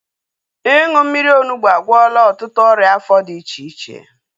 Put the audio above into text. Ịṅụ mmiri onugbu agwọla ọtụtụ ọrịa afọ dị iche iche